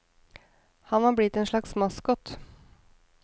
Han var blitt en slags maskot.